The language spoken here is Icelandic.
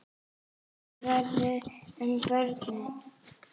Hvað verður um börnin?